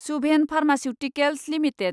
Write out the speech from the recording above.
Subhen pharmaceuticals limited